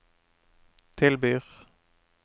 tilbyr